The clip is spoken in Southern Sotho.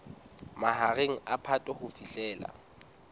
mahareng a phato ho fihlela